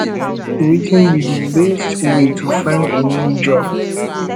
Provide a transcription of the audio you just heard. wetin be di best way to find a new job